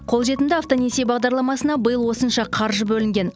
қолжетімді автонесие бағдарламасына биыл осынша қаржы бөлінген